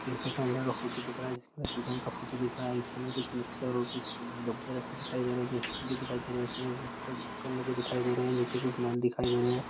Cafe के अंदर का फोटू दिख रहा है जिसमे किचन का फोटू दिख रहा है जिसके अंदर कुछ मिक्सर और कुछ अ डब्बे रखे दिखाई दे रहे है जो स्टील के दिखाई दे रहे है उसमे ओ ऊपर ढक्कन लगे दिखाई दे रहे है नीचे कुछ नल दिखाई दे रहा है।